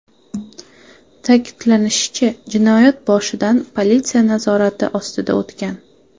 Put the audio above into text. Ta’kidlanishicha, jinoyat boshidan politsiya nazorati ostida o‘tgan.